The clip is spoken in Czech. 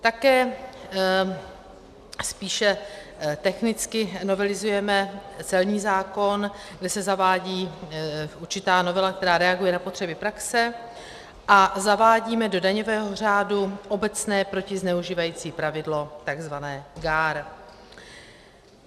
Také spíše technicky novelizujeme celní zákon, kde se zavádí určitá novela, která reaguje na potřeby praxe, a zavádíme do daňového řádu obecné protizneužívající pravidlo, takzvané GAAR.